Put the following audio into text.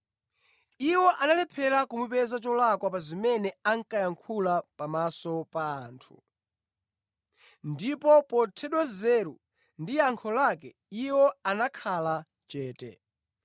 Iwo analephera kumupeza cholakwa pa zimene ankayankhula pamaso pa anthu. Ndipo pothedwa nzeru ndi yankho lake, iwo anakhala chete.